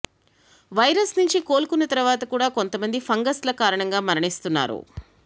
virus నుంచి కోలుకున్న తర్వాత కూడా కొంతమంది ఫంగస్ ల కారణంగా మరణిస్తున్నారు